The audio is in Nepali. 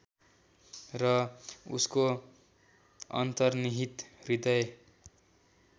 र उसको अन्तर्निहित हृदय